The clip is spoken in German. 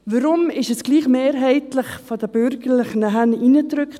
Warum wurde dies trotzdem von den Bürgerlichen mehrheitlich hineingedrückt?